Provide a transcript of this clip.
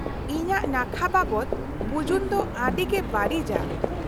-ᱤᱧᱟᱹᱜ ᱱᱟᱠᱷᱟ ᱵᱟᱵᱚᱫ ᱵᱩᱡᱩᱱ ᱫᱚ ᱟᱹᱰᱤᱜᱮ ᱵᱟᱹᱲᱤᱡᱼᱟ ᱾